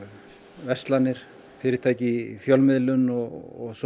verslanir fyrirtæki í fjölmiðlun og svo